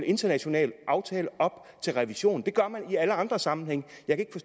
international aftale op til revision det gør man i alle andre sammenhænge